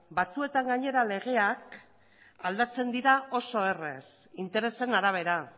batzuetan gainera legeak aldatzen dira oso errez interesen arabera